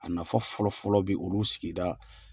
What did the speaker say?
A nafa fɔlɔ fɔlɔ be olu sigida